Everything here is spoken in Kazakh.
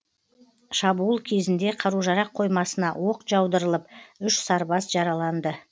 шабуыл кезінде қару жарақ қоймасына оқ жаудырылып үш сарбаз жараланды